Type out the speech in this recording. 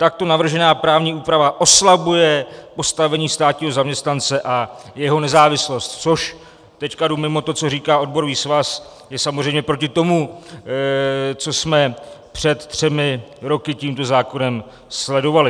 Takto navržená právní úprava oslabuje postavení státního zaměstnance a jeho nezávislost," což - teď jdu mimo to, co říká odborový svaz - je samozřejmě proti tomu, co jsme před třemi roky tímto zákonem sledovali.